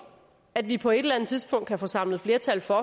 at vi på et eller andet tidspunkt kan få samlet flertal for